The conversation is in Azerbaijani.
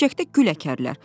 Dibçəkdə gül əkərlər.